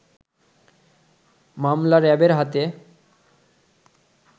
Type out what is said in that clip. মামলা র‌্যাবের হাতে